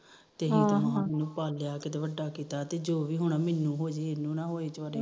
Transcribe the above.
ਤੇ ਪਾਲਿਆ ਕਿਤੇ ਵੱਡਾ ਕੀਤਾ ਜੋ ਵੀ ਹੋਣਾ ਮੈਨੂੰ ਹੋਜੇ ਇਹਨੂੰ ਨਾ ਹੋਏ